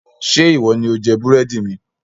Ṣé ìwọ ni ó jẹ búrẹ́dì mi?